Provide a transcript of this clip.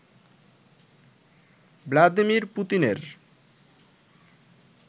Vladimir পুতিনের